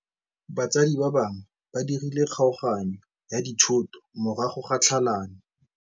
Batsadi ba gagwe ba dirile kgaoganyô ya dithoto morago ga tlhalanô.